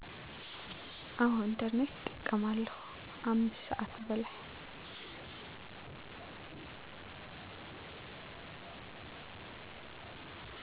አዎ ኢንተርኔት እጠቀማለሁ። 5 ስዓት በላይ